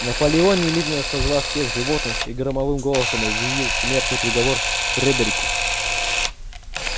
наполеон немедленно созвал всех животных и громовым голосом объявил смертный приговор фредерику